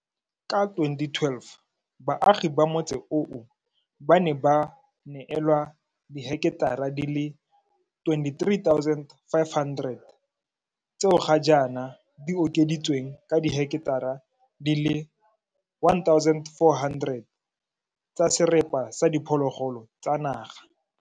Ka 2012, baagi ba motse oo ba ne ba neelwa diheketara di le 23 500 tseo ga jaana di okeditsweng ka diheketara di le 1 400 tsa serapa sa diphologolo tsa naga.